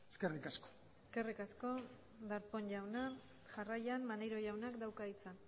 eskerrik asko eskerrik asko darpón jauna jarraian maneiro jaunak dauka hitza